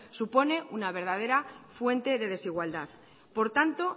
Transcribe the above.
supone una verdadera fuente de desigualdad por tanto